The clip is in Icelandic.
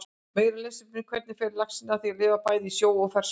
Meira lesefni: Hvernig fer laxinn að því að lifa bæði í sjó og ferskvatni?